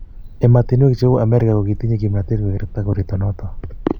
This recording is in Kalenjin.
emotinwek cheuu Amerika ko kitinye kimnatet kukerta koroito noto